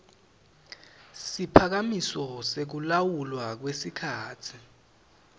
siphakamiso sekulawulwa kwesikhatsi